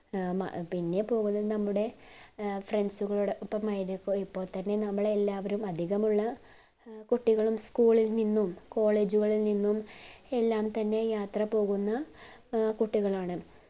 ഏർ പിന്നെ പോകുന്നത് നമ്മുടെ friends കൊളോടപ്പമായിരിക്കും ഇപ്പോൾ തന്നെ നമ്മളെ എല്ലാവരും അധികമുള്ള കുട്ടികളും school ഇൽ നിന്നും college ഉകളിൽ നിന്നും എല്ലാം തന്നെ യാത്ര പോകുന്ന ഏർ കുട്ടികളാണ്